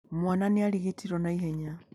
Mwana nĩ arigitirwo na ihenya.